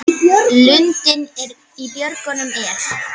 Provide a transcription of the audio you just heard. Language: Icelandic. Lundinn í björgum er.